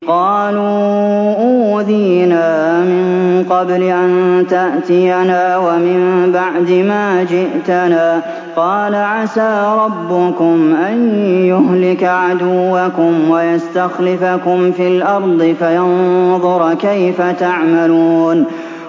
قَالُوا أُوذِينَا مِن قَبْلِ أَن تَأْتِيَنَا وَمِن بَعْدِ مَا جِئْتَنَا ۚ قَالَ عَسَىٰ رَبُّكُمْ أَن يُهْلِكَ عَدُوَّكُمْ وَيَسْتَخْلِفَكُمْ فِي الْأَرْضِ فَيَنظُرَ كَيْفَ تَعْمَلُونَ